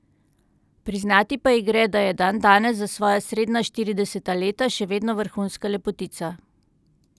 Priznati pa ji gre, da je dandanes, za svoja srednja štirideseta leta, še vedno vrhunska lepotica.